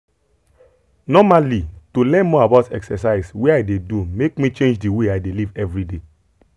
normally to learn more about exercise wey i dey do make me change the way i dey live every day.